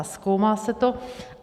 A zkoumá se to.